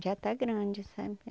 Já está grande, sabe?